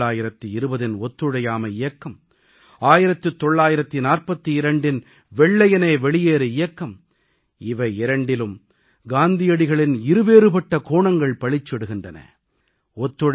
1920ன் ஒத்துழையாமை இயக்கம் 1942ன் வெள்ளையனே வெளியேறு இயக்கம் இவை இரண்டிலும் காந்தியடிகளின் இரு வேறுபட்ட கோணங்கள் பளிச்சிடுகின்றன